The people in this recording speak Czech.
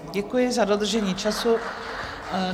Děkuji za dodržení času.